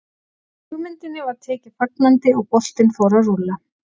Hugmyndinni var tekið fagnandi og boltinn fór að rúlla.